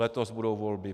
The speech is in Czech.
Letos budou volby.